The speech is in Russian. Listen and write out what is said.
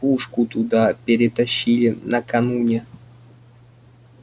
пушку туда перетащили накануне